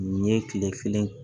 Nin ye tile kelen